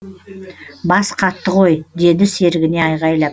бас қатты ғой деді серігіне айғайлап